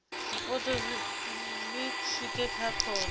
zwipotso zwi swike kha khona